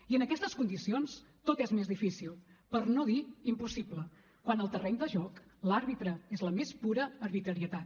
i en aquestes condicions tot és més difícil per no dir impossible quan al terreny de joc l’àrbitre és la més pura arbitrarietat